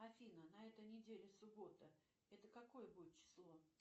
афина на этой недели суббота это какое будет число